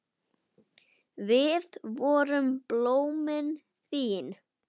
Við vorum blómin þín.